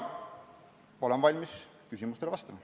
Olen valmis küsimustele vastama.